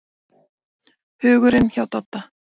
Hugurinn hjá Dodda.